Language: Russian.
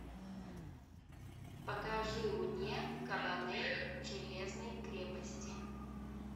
покажи мне кабанери железной крепости